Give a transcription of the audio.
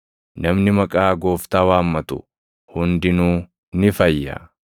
Namni maqaa Gooftaa waammatu, hundinuu ni fayya.’ + 2:21 \+xt Yoe 2:28‑32\+xt*